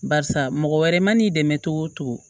Barisa mɔgɔ wɛrɛ mana n'i dɛmɛ togo togo